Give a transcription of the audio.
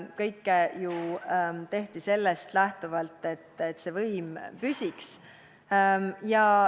Kõike tehti ju sellest lähtuvalt, et võim püsiks.